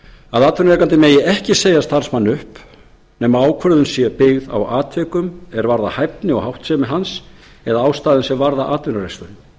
að atvinnurekandi megi ekki segja starfsmanni upp nema ákvörðunin sé byggð á atvikum er varða hæfni og háttsemi hans eða ástæðum sem varða atvinnureksturinn